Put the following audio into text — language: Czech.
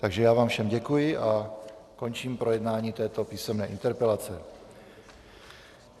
Takže já vám všem děkuji a končím projednávání této písemné interpelace.